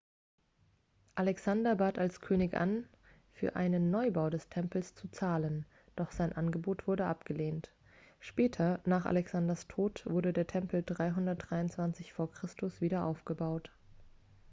alexander bat als könig an für einen neubau des tempels zu zahlen doch sein angebot wurde abgelehnt später nach alexanders tod wurde der tempel 323 v. chr. wieder aufgebaut